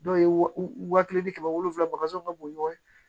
Dɔw ye wa kelen ni kɛmɛ wolonwula ka bɔn ɲɔgɔn fɛ